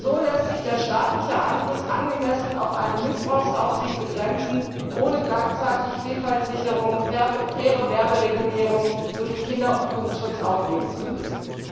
Nur so lässt sich der staatliche Einfluss angemessen auf eine Missbrauchsaufsicht begrenzen, ohne gleichzeitig Vielfaltsicherung, faire Werberegulierung sowie Kinder und Jugendschutz aufgeben zu müssen.